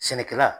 Sɛnɛkɛla